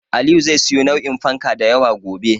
Aliyu zai siyo nau'in fanka da yawa gobe.